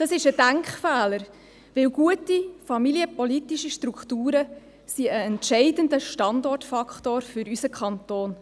Dies ist ein Denkfehler, denn gute familienpolitische Strukturen sind ein entscheidender Standortfaktor für unseren Kanton.